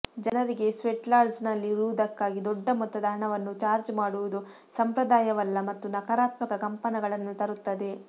ಜನರಿಗೆ ಸ್ವೆಟ್ಲಾಡ್ಜ್ನಲ್ಲಿರುವುದಕ್ಕಾಗಿ ದೊಡ್ಡ ಮೊತ್ತದ ಹಣವನ್ನು ಚಾರ್ಜ್ ಮಾಡುವುದು ಸಂಪ್ರದಾಯವಲ್ಲ ಮತ್ತು ನಕಾರಾತ್ಮಕ ಕಂಪನಗಳನ್ನು ತರುತ್ತದೆ